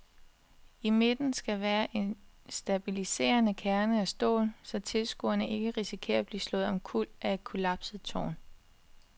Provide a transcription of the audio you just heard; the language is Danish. I midten skal være en stabiliserende kerne af stål, så tilskuere ikke risikerer at blive slået omkuld af et kollapset tårn.